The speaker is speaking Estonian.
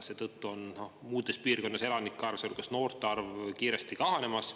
Seetõttu on muudes piirkondades elanike arv, sealhulgas noorte arv, kiiresti kahanemas.